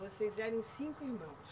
Vocês eram cinco irmãos?